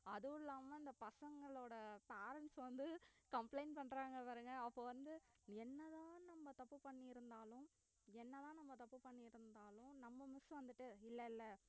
அதும் இல்லாம இந்த பசங்களோட parents வந்து complaint பண்ணறாங்க பாருங்க அப்போ வந்து என்னதான் நம்ப தப்பு பண்ணிருந்தாலும் என்னதான் நம்ப தப்பு பண்ணிருந்தாலும் நம்ப miss வந்துட்டு இல்ல இல்ல